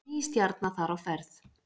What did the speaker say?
Ný stjarna þar á ferð